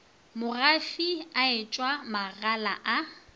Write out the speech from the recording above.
mogafi a etshwa magala a